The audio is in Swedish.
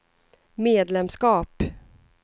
medlemskap